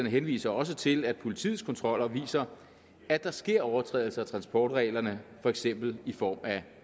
henviser også til at politiets kontroller viser at der sker overtrædelser af transportreglerne for eksempel i form af